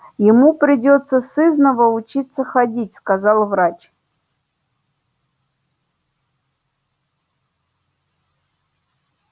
ему придётся сызнова учиться ходить сказал врач